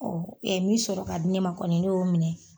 min sɔrɔ ka di ne ma kɔni ne y'o minɛ